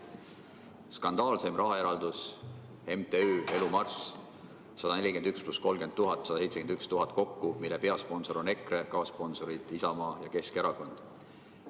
Skandaalseim rahaeraldis: MTÜ‑le Elu Marss, 141 000 + 30 000, 171 000 kokku, selle peasponsor on EKRE, kaassponsorid Isamaa ja Keskerakond.